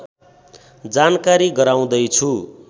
जानकारी गराउँदैछु